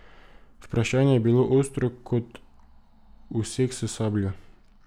Vprašanje je bilo ostro kot usek s sabljo.